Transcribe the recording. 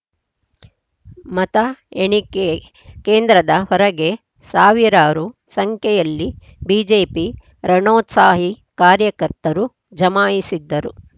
ಮತಎಣಿಕೆ ಕೇಂದ್ರದ ಹೊರಗೆ ಸಾವಿರಾರು ಸಂಖ್ಯೆಯಲ್ಲಿ ಬಿಜೆಪಿ ರಣೋತ್ಸಾಹಿ ಕಾರ್ಯಕರ್ತರು ಜಮಾಯಿಸಿದ್ದರು